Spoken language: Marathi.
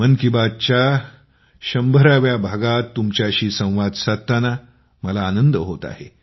मन की बात कार्यक्रमाच्या 100 व्या भागात तुमच्याशी संवाद साधताना मला आनंद होत आहे